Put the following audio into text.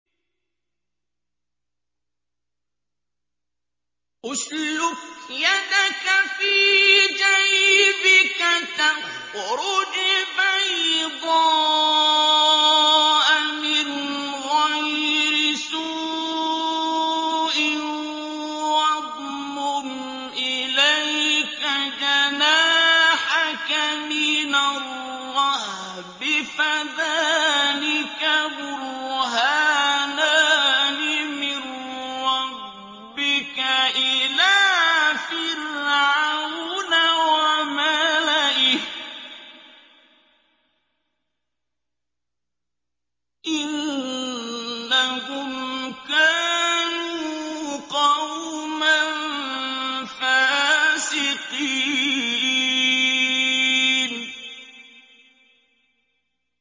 اسْلُكْ يَدَكَ فِي جَيْبِكَ تَخْرُجْ بَيْضَاءَ مِنْ غَيْرِ سُوءٍ وَاضْمُمْ إِلَيْكَ جَنَاحَكَ مِنَ الرَّهْبِ ۖ فَذَانِكَ بُرْهَانَانِ مِن رَّبِّكَ إِلَىٰ فِرْعَوْنَ وَمَلَئِهِ ۚ إِنَّهُمْ كَانُوا قَوْمًا فَاسِقِينَ